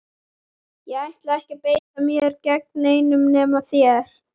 Ég ætla ekki að beita mér gegn neinum nema þér!